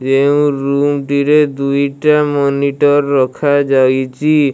ଯେଉଁ ରୁମ୍ ଟିରେ ଦୁଇଟା ମନିଟର ରଖାଯାଇଚି।